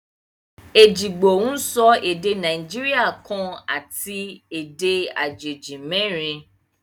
Ejìgbò ń sọ èdè Nàìjíríà kan àti èdè àjèjì merin